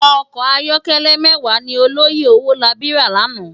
Òkò àyòkèlè mèwá ni òlòyé Owolabi rá làná